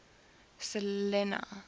selinah